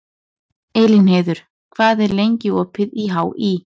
Elínheiður, hvað er lengi opið í HÍ?